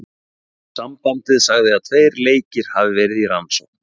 Sambandið sagði að tveir leikir hafi verði í rannsókn.